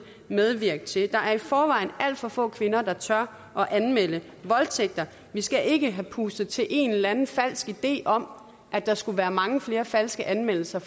medvirke til der er i forvejen alt for få kvinder der tør at anmelde voldtægter vi skal ikke have pustet til en eller anden falsk idé om at der skulle være mange flere falske anmeldelser